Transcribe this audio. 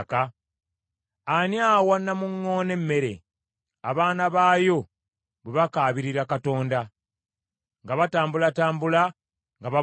Ani awa namuŋŋoona emmere, abaana baayo bwe bakaabirira Katonda, nga batambulatambula nga babuliddwa emmere?”